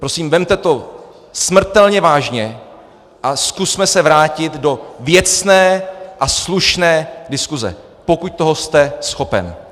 Prosím, vezměte to smrtelně vážně a zkusme se vrátit do věcné a slušné diskuze, pokud toho jste schopen!